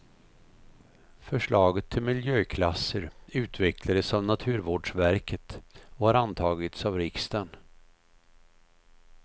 Förslaget till miljöklasser utvecklades av naturvårdsverket och har antagits av riksdagen.